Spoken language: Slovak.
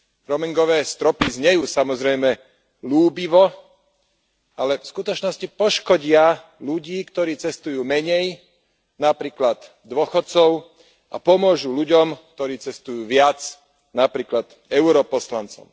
Roamingové stropy znejú samozrejme ľúbivo, ale v skutočnosti poškodia ľudí, ktorí cestujú menej, napríklad dôchodcov, a pomôžu ľuďom, ktorí cestujú viac, napríklad europoslancom.